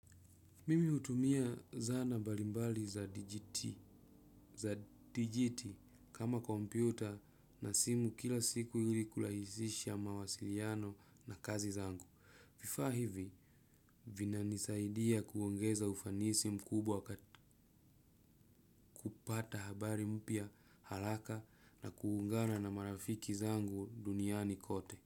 Mimi hutumia zana mbalimbali za dijiti kama kompyuta na simu kila siku ili kulahisisha mawasiliano na kazi zangu. Vifaa hivi, vinanisaidia kuongeza ufanisi mkubwa kupata habari mpya halaka na kuungana na marafiki zangu duniani kote.